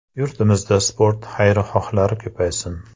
Yurtimizda sport xayrixohlari ko‘paysin!